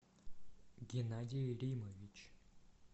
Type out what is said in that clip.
геннадий римович